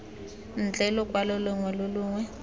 ntle lokwalo longwe lo longwe